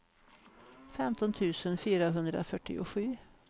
femton tusen fyrahundrafyrtiosju